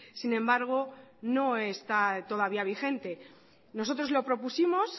sin embargo no está todavía vigente nosotros lo propusimos